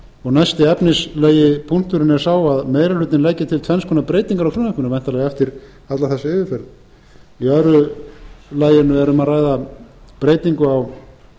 menntamálaráðuneyti er mesti efnislegi punkturinn sá að meiri hlutinn leggi til tvenns konar breytingar á frumvarpinu væntanlega eftir alla þessa yfirferð í öðru laginu er um að ræða breytingu á